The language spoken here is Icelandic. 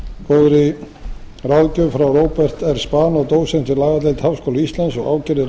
góðri ráðgjöf frá róbert r spanó og dósent við lagadeild háskóla íslands og